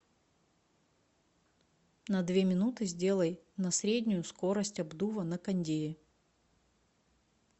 на две минуты сделай на среднюю скорость обдува на кондее